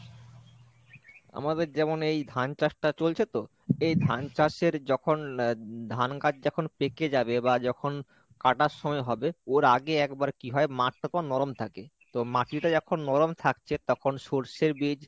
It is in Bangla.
আমাদের যেমন এই ধান চাষটা চলছে তো এই ধান চাষের যখন আহ ধান গাছ যখন পেঁকে যাবে বা যখন কাটার সময় হবে ওর আগে একবার কি হয় মাঠটা তো নরম থাকে তো মাটিটা যখন নরম থাকছে তখন সর্ষের বীজ